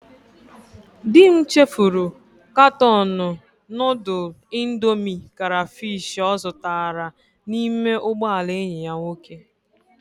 Di m chefuru katọọnụ nudul indomi karafish o zutara n'ime ugboala enyi ya nwoke.